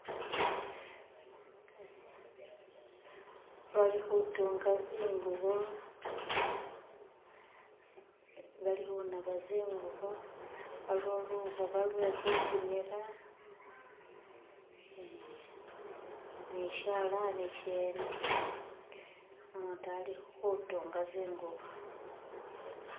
bali hutunga zingubo, bali hunaba zingubo waliwo luhoba lwehupimila ee ni shalani shene umutu ali hutunga zingubo